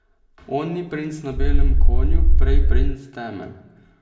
On ni princ na belem konju, prej princ teme.